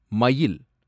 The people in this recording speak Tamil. மயில்